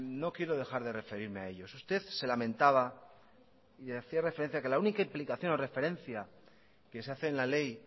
no quiero dejar de referirme a ellos usted se lamentaba y hacía referencia que la única implicación o referencia que se hace en la ley